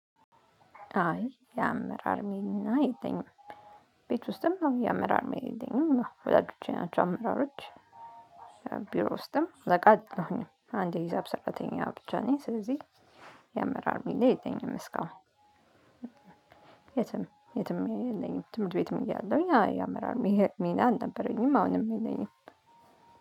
አይ የአመራር ሚና የለኝም። ቤት ውስጥም አይ የአመራር ሚና የለኝም ወላጆቼ ናቸው አመራሮች። ቢሮ ውስጥም ፍቃድ አለኝ አንድ ሂሳብ ሰራተኛ ብቻ ነኝ ስለዚህ የአመራር ሚና የለኝም። እስካሁን የትም የትም የለኝም። ትምህርት ቤትም እያለሁኝ አመራር ሚና አልነበረኝም አሁንም የለኝም።